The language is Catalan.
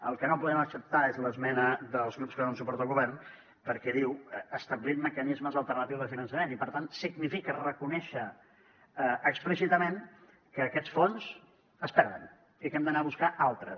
el que no podem acceptar és l’esmena dels grups que donen suport al govern perquè diu establint mecanismes alternatius de finançament i per tant significa reconèixer explícitament que aquests fons es perden i que n’hem d’anar a buscar altres